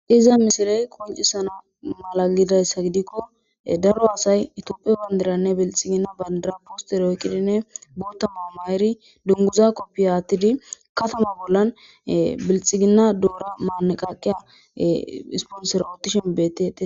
iza misirey koncisana mala gidayssa gidikko daro asay itooppe pandiranne bilxiginna bandiraposteroyqidinne bootamao ma7eri dunguza koppi haattidi katama bollan bilxiginna doora maaneqaqiya isponser oottishen bet